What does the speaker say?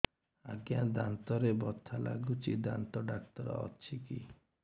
ଆଜ୍ଞା ଦାନ୍ତରେ ବଥା ଲାଗୁଚି ଦାନ୍ତ ଡାକ୍ତର ଅଛି କି